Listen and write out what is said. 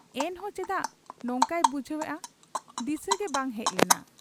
ᱮᱱᱦᱚᱸ ᱪᱮᱫᱟᱜ ᱱᱚᱝᱠᱟᱭ ᱵᱩᱡᱷᱟᱹᱣᱮᱜ ᱟ ? ᱫᱤᱥᱟᱹᱜᱮ ᱵᱟᱝ ᱦᱮᱡ ᱞᱮᱱᱟ ᱾